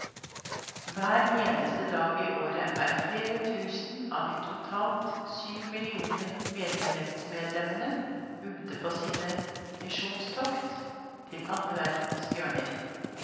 Hver eneste dag i året er flere tusen av de totalt syv millioner menighetsmedlemmene ute på sine misjonstokt til alle verdens hjørner.